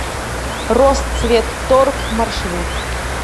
росцветторг маршрут